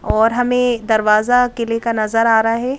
और हमें दरवाजा अकेले का नजर आ रहा है।